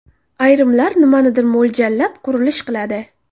Ayrimlar nimanidir mo‘ljallab, qurilish qiladi.